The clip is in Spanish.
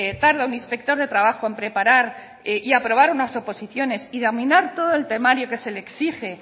tarda un inspector de trabajo en preparar y aprobar unas oposición y dominar todo el temario que se le exige